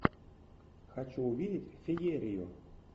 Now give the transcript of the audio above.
хочу увидеть феерию